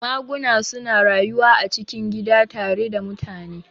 Maguna suna rayuwa a cikin gida tare da mutane